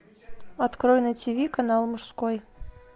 открой на тиви канал мужской